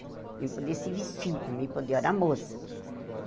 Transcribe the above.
Para mim, poder se vestir, para mim, poder eu era moça.